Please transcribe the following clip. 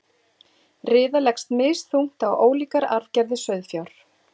riða leggst misþungt á ólíkar arfgerðir sauðfjár